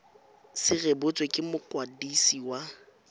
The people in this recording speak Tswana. se rebotswe ke mokwadisi wa